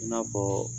I n'a fɔ